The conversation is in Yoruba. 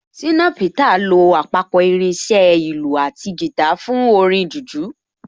Ṣìnà Peter lo àpapọ̀ irin iṣẹ́ ìlù àti guitar fún orin jùjú